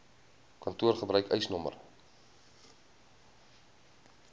kantoor gebruik eisnr